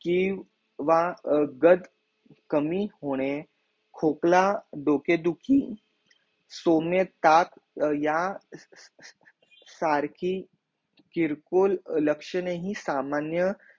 की व गत कमी होणे कोकला डोके दुखी सोमयताप या सारकी चिरकॉल लक्षणेही सामान्य